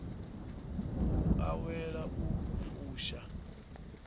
u awela u i fusha